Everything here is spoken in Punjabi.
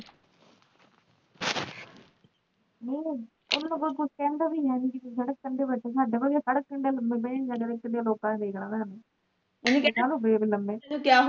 ਨਹੀਂ ਉਹਨਾਂ ਨੂੰ ਕੋਈ ਕੁਛ ਕਹਿੰਦਾ ਵੀ ਹੈਨੀ ਕੀ ਤੁਸੀ ਸੜਕ ਕੰਢੇ ਬੈਠੇ ਸਾਡੇ ਵਰਗੇ ਸੜਕ ਕੰਢੇ ਲੰਮੇ ਪਏ ਹੁੰਦੇ ਕਦੇ ਲੋਕਾਂ ਨੇ ਵੇਖਣਾ ਤੁਹਾਨੂੰ